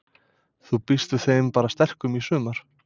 Þú býst við þeim bara sterkum í sumar?